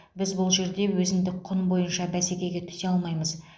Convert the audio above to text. біз бұл жерде өзіндік құн бойынша бәсекеге түсе алмаймыз